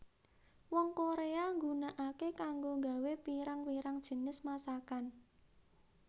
Wong Korea nggunakake kanggo gawé pirang pirang jinis masakan